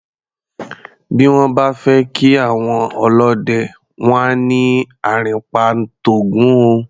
Bí wọ́n bá fẹ́ kí àwọn ọlọ́dẹ, wọ́n á ní "àrìnpa ń t'Ògún o".